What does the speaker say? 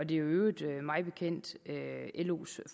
i øvrigt mig bekendt los